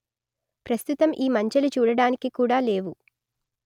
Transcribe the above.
ప్రస్తుతం ఈ మంచె లు చూడడానికి కూడా లేవు